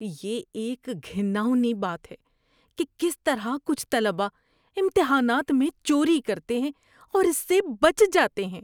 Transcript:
یہ ایک گھناؤنی بات ہے کہ کس طرح کچھ طلباء امتحانات میں چوری کرتے ہیں اور اس سے بچ جاتے ہیں۔